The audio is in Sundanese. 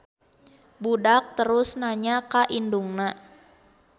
Budak terus nanya ka indungan.